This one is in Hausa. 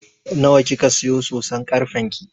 Nawa kika siya soson karfen ki?